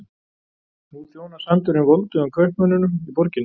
Nú þjónar sandurinn voldugum kaupmönnunum í borginni.